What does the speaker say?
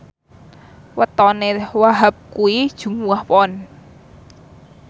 wetone Wahhab kuwi Jumuwah Pon